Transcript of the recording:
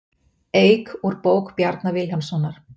Eik úr bók Bjarna Vilhjálmssonar